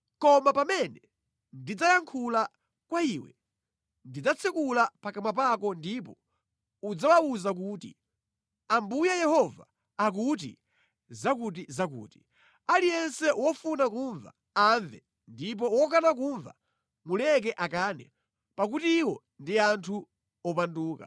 Koma pamene ndidzayankhula kwa iwe, ndidzatsekula pakamwa pako ndipo udzawawuza kuti, ‘Ambuye Yehova akuti zakutizakuti.’ Aliyense wofuna kumva amve ndipo wokana kumva, muleke akane; pakuti iwo ndi anthu opanduka.”